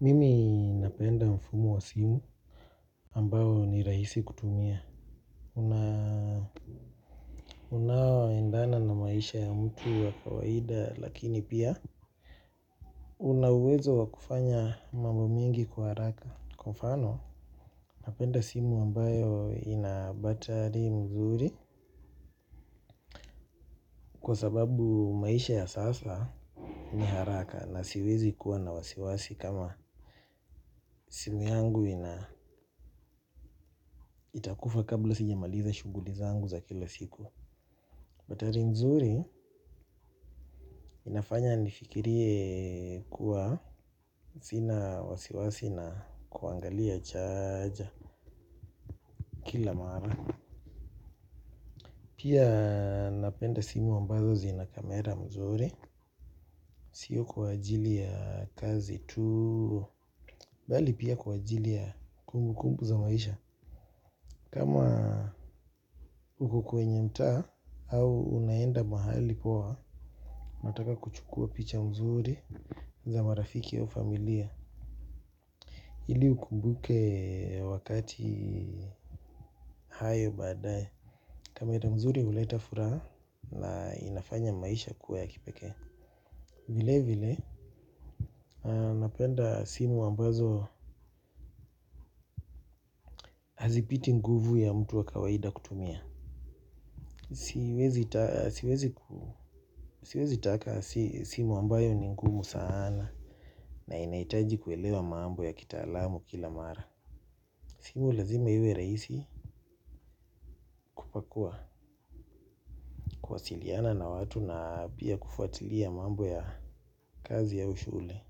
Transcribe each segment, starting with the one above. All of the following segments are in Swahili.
Mimi napenda mfumo wa simu ambayo ni rahisi kutumia. Una. Unaoendana na maisha ya mtu wa kawaida lakini pia. Unawezo wakufanya mambo mengi kwa haraka. Kwa mfano? Napenda simu ambayo inabatari mzuri. Kwa sababu maisha ya sasa ni haraka na siwezi kuwa na wasiwasi kama simu yangu ina. Itakufa kabla sijamaliza shuguli zangu za kila siku. Batari mzuri inafanya nifikirie kuwa sina wasiwasi na kuangalia chaaja kila mara. Pia napenda simu ambazo zina kamera mzuri. Sio kwa ajili ya kazi tu. Bali pia kwa ajili ya kumbu kumbu za maisha kama uko kwenye mtaa au unaenda mahali poa mataka kuchukua picha mzuri za marafiki au familia. Hili ukumbuke wakati hayo baadae. Kamera mzuri uleta furaha na inafanya maisha kuwa ya kipeke. Vile vile napenda simu ambazo hazipiti nguvu ya mtu wa kawaida kutumia. Siwezi taka simu ambayo ni ngumu saana na inahitaji kuelewa mambo ya kitaalamu kila mara. Simu lazima iwe raisi kwakua kuwasiliana na watu na pia kufuatilia mambo ya kazi au shule.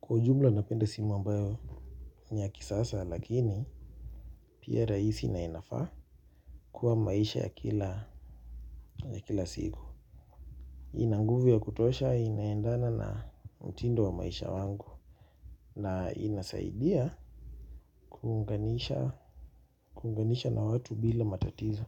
Kwa ujumla napenda simu ambayo niya kisasa lakini pia rahisi na inafaa kuwa maisha ya kila siku. Ina nguvu ya kutosha inaendana na mtindo wa maisha wangu na ina saidia kuunganisha na watu bila matatizo.